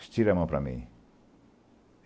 Estira a mão para mim.